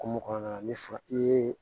Hokumu kɔnɔna na ni i ye